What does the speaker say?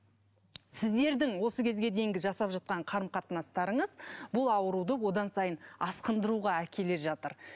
сіздердің осы кезге дейінгі жасап жатқан қарым қатынастарыңыз бұл ауруды одан сайын асқындыруға әкеле жатыр